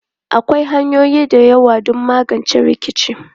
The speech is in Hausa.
Akwai hanyoyi da yawa don magance rikici.